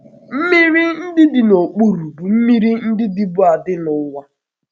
Mmiri ndị dị n’okpuru bụ mmiri ndị dịbu adị n’ụwa.